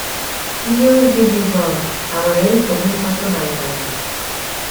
Ndịozi Jizọs hà nwere nsogbu mpako na nganga?